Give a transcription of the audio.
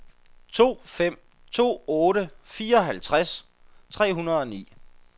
to fem to otte fireoghalvtreds tre hundrede og ni